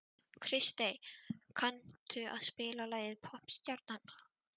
Kristey, kanntu að spila lagið „Poppstjarnan“?